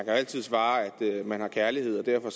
altid svare at man har kærlighed og derfor